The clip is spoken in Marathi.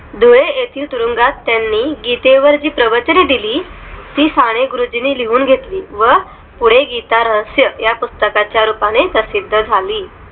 धुळे येथील तुरुंगात त्यांनी गीते वर ची प्रवचने दिली ती साने गुरुजींनी लिहून घेतली व पुढे गीतारहस्य या पुस्तका च्या रूपाने प्रसिद्ध झाली